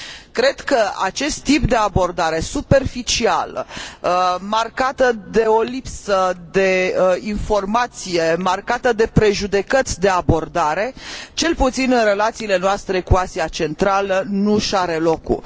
Cred că acest tip de abordare superficială, marcată de o lipsă de informație, marcată de prejudecăți de abordare, cel puțin în relațiile noastre cu Asia Centrală, nu își are locul.